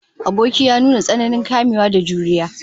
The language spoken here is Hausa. Aboki ya nuna tsananin kamewa da jurewa